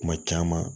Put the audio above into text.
Kuma caman